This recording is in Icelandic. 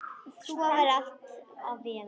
Svo verði að vera.